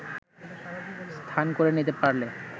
স্থান করে নিতে পারলে